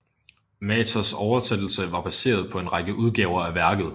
Mathers oversættelse var baseret på en række udgaver af værket